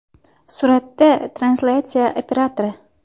Suratda translyatsiya operatori.